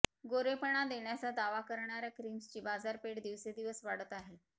गोरेपणा देण्याचा दावा करणार्या क्रिम्सची बाजारपेठ दिवसेदिवस वाढते आहे